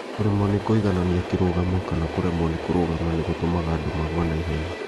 Kũremwo nĩ kũiganania kĩrũgamo kana kũremwo nĩ kũrũgama nĩ gũtũmaga andũ magwe na ihenya